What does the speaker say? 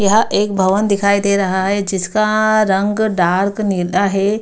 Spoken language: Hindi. यहाँ एक भवन दिखाई दे रहा हे। जिसका रंग डार्क नीला हे।